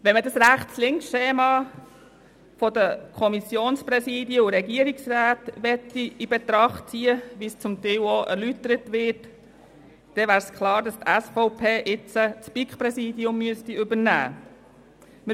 Wenn man das Rechts-links-Schema der Kommissionspräsidien und Regierungsräte in Betracht ziehen will, wie es zum Teil auch erläutert wurde, so wäre klar, dass die SVP das BiK-Präsidium übernehmen müsste.